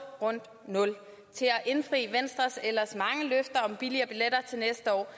rundt nul til at indfri venstres ellers mange løfter om billigere billetter til næste år